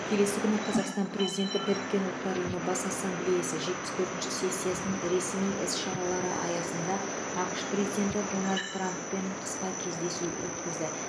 келесі күні қазақстан президенті біріккен ұлттар ұйымы бас ассамблеясы жетпіс төртінші сессиясының ресми іс шаралары аясында ақш президенті дональд трамппен қысқа кездесу өткізді